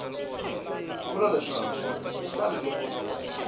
vula leswaku ku fanele ku